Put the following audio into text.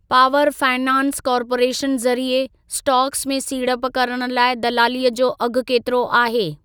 Power finance corporation ज़रिए stocks में सीड़प करण लाइ दलालीअ जो अघि केतिरो आहे?